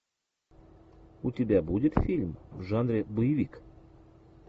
у тебя будет фильм в жанре боевик